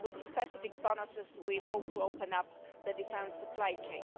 With specific bonuses we hope to open up the defence supply chain.